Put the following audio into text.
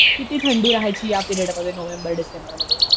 किती थंडी राहायची या पिरियड मध्ये नोव्हेंबर डिसेम्बरमध्ये